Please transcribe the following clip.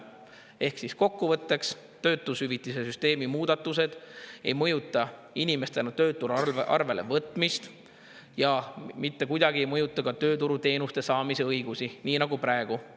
Ehk siis kokkuvõtteks, töötushüvitise süsteemi muudatused ei mõjuta inimestel enda töötuna arvelevõtmist ja mitte kuidagi ei mõjuta ka tööturuteenuste saamise õigust, nii nagu praegu.